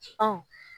Ɔ